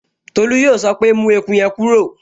Tolú yóò sọ pé, 'mú eku yẹn kúrò'